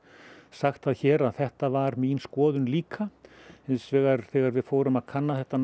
sagt það hér að þetta var mín skoðun líka hins vegar þegar við fórum að kanna þetta